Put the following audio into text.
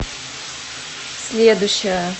следующая